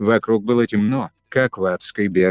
вокруг было темно как в адской бездне